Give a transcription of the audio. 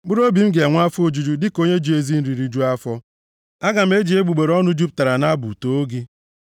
Mkpụrụobi m ga-enwe afọ ojuju dịka onye ji ezi nri rijuo afọ; aga m eji egbugbere ọnụ jupụtara nʼabụ too gị.